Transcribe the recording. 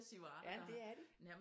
Ja det er de